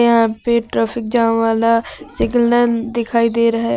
यहां पे traffic jam वाला सिग्नल दिखाई दे रहा है।